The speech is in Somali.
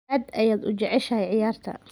Aad ayaad u jeceshahay ciyaarta